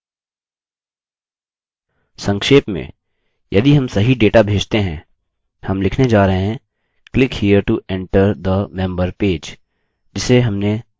संक्षेप में यदि हम सही डेटा भेजते हैं हम लिखने जा रहे हैं click here to enter the member page जिसे हमने अभी तक नहीं बनाया